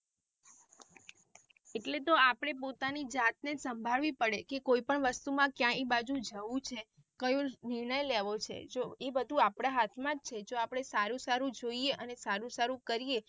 એટલે તો આપળે પોતાની જાતને સાંભળવી પડે કે કોઈ પણ વસ્તુ માં ક્યાંયે બાજુ જવું છે કયું નિર્ણય લેવું છે જો એ બધું આપડા હાથ માં છે જો આપડે સારું સારું જોઈએ અને સારું સારું કરીયે.